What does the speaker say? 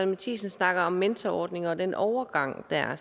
matthiesen snakker om mentorordninger og den overgang der er